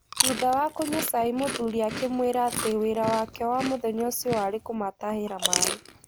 Thutha wa kũnyua cai mũthuri akĩmwĩra atĩ wĩra wake wa mũthenya ũcio warĩ kũmatahĩra maaĩ.